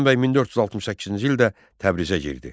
Həsənbəy 1468-ci ildə Təbrizə girdi.